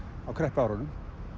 á kreppuárunum